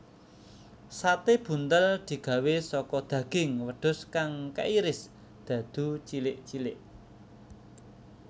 Sate buntel digawé saka daging wedhus kang kairis dadu cilik cilik